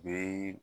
Bee